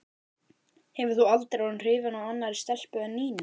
Hefur þú aldrei orðið hrifinn af annarri stelpu en Nínu?